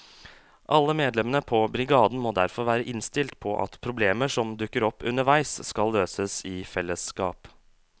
Alle medlemmene på brigaden må derfor være innstilt på at problemer som dukker opp underveis skal løses i fellesskap.